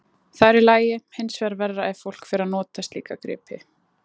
Það er í lagi, hinsvegar verra ef fólk fer að nota slíka gripi.